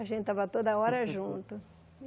A gente estava toda hora junto.